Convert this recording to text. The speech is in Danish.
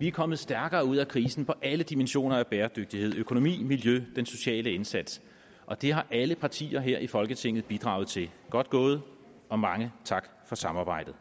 vi er kommet stærkere ud af krisen på alle dimensioner af bæredygtighed økonomi miljø den sociale indsats og det har alle partier her i folketinget bidraget til godt gået og mange tak for samarbejdet